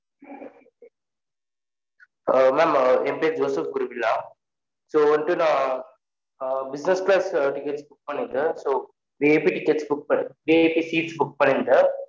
ஆஹ் Mam என் பெயர் Joseph Kuruvilla so வந்துட்டு நான் business class ticket book பண்ணிருந்தன் soVIPtickets book பண் vipseats book பண்ணிருந்த